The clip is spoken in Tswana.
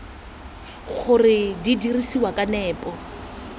gore di dirisiwa ka nepo